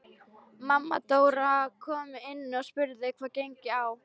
Mamma Dóra kom inn og spurði hvað gengi á.